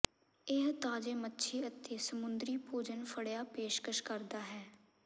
ਇਹ ਤਾਜ਼ੇ ਮੱਛੀ ਅਤੇ ਸਮੁੰਦਰੀ ਭੋਜਨ ਫੜਿਆ ਪੇਸ਼ਕਸ਼ ਕਰਦਾ ਹੈ